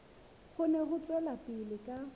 kgone ho tswela pele ka